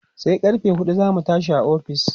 sai karfe huɗu zamu tashi a ofis